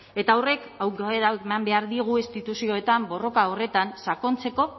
eta horrek aukera eman behar diegu instituzioetan borroka horretan sakontzeko